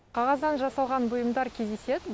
қағаздан жасалған бұйымдар кездеседі